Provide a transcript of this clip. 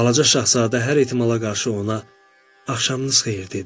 Balaca Şahzadə hər ehtimala qarşı ona "axşamınız xeyir" dedi.